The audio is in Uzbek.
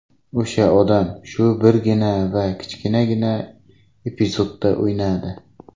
O‘sha odam shu birgina va kichkinagina epizodda o‘ynadi.